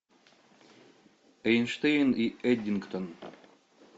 эйнштейн и эддингтон